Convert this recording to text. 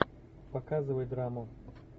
показывай драму